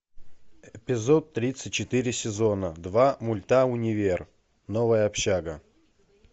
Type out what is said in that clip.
эпизод тридцать четыре сезона два мульта универ новая общага